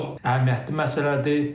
bu çox əhəmiyyətli məsələdir.